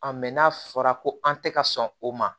mɛ n'a fɔra ko an tɛ ka sɔn o ma